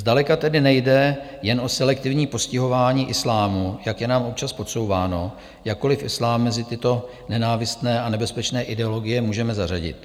Zdaleka tedy nejde jen o selektivní postihování islámu, jak je nám občas podsouváno, jakkoliv islám mezi tyto nenávistné a nebezpečné ideologie můžeme zařadit.